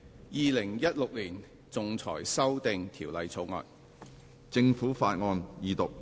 《2016年仲裁條例草案》。